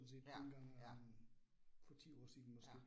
Ja, ja. Ja